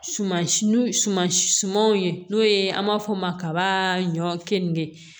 Suman si suman si sumaw ye n'o ye an b'a fɔ o ma kaba ɲɔ keninge